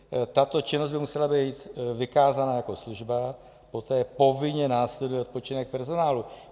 Tato činnost by musela být vykázaná jako služba, poté povinně následuje odpočinek personálu.